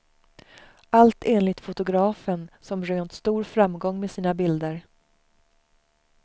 Allt enligt fotografen, som rönt stor framgång med sina bilder.